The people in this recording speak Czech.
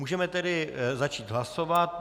Můžeme tedy začít hlasovat.